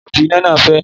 Gílóòbù iná náà fẹ́